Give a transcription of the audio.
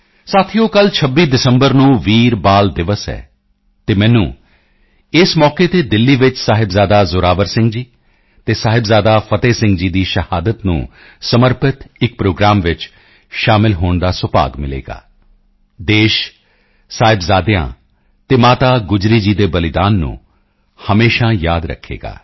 ਸਾਥੀਓ ਕੱਲ੍ਹ 26 ਦਸੰਬਰ ਨੂੰ ਵੀਰ ਬਾਲ ਦਿਵਸ ਹੈ ਅਤੇ ਮੈਨੂੰ ਇਸ ਮੌਕੇ ਤੇ ਦਿੱਲੀ ਵਿੱਚ ਸਾਹਿਬਜ਼ਾਦਾ ਜ਼ੋਰਾਵਰ ਸਿੰਘ ਜੀ ਅਤੇ ਸਾਹਿਬਜ਼ਾਦਾ ਫਤਿਹ ਸਿੰਘ ਜੀ ਦੀ ਸ਼ਹਾਦਤ ਨੂੰ ਸਮਰਪਿਤ ਇੱਕ ਪ੍ਰੋਗਰਾਮ ਵਿੱਚ ਸ਼ਾਮਲ ਹੋਣ ਦਾ ਸੁਭਾਗ ਮਿਲੇਗਾ ਦੇਸ਼ ਸਾਹਿਬਜ਼ਾਦਿਆਂ ਅਤੇ ਮਾਤਾ ਗੁਜਰੀ ਜੀ ਦੇ ਬਲੀਦਾਨ ਨੂੰ ਹਮੇਸ਼ਾ ਯਾਦ ਰੱਖੇਗਾ